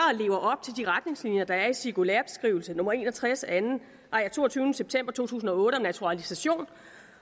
lever op til de retningslinjer der er i cirkulærebeskrivelse nummer en og tres af toogtyvende september to tusind og otte om naturalisation